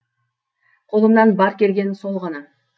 қолымнан бар келгені сол ғана